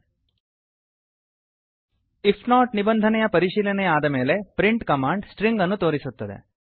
IF not ನಿಬಂಧನೆಯ ಪರಿಶೀಲನೆಯಾದ ಮೇಲೆ ಪ್ರಿಂಟ್ ಕಮಾಂಡ್ ಸ್ಟ್ರಿಂಗ್ ಅನ್ನು ತೋರಿಸುತ್ತದೆ